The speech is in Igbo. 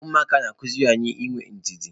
Ụmụaka na-akụziri anyị inwe ndidi.